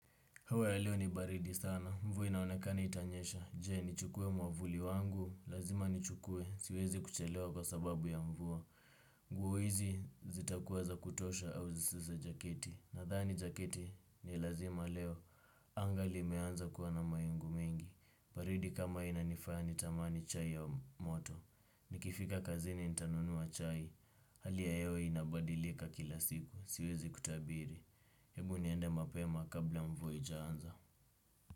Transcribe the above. Hewa ya leo ni baridi sana. Mvua inaonekana itanyesha. Je, nichukue mwavuli wangu? Lazima ni chukue. Siwezi kuchelewa kwa sababu ya mvua. Nguo hizi zitakuwa za kutosha au si za jaketi. Nadhani jaketi ni lazima leo. Anga limeanza kuwa na mawingu mengi. Baridi kama hii inanifaya nitamani chai ya moto. Nikifika kazini nitanunua chai. Hali ya hewa inabadilika kila siku. Siwezi kutabiri. Hebu niende mapema kabla mvua haijaanza.